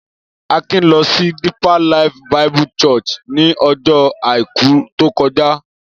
Akin lọ sí Deeper Life Bible Church ní ọjọ́ àìkú tó kọjá.